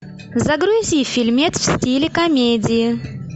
загрузи фильмец в стиле комедии